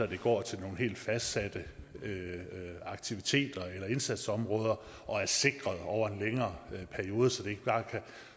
de går til nogle helt fastsatte aktiviteter eller indsatsområder og er sikret over en længere periode så det ikke bare kan